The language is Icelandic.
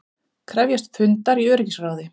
Krefjast fundar í öryggisráði